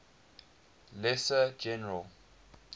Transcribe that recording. lesser general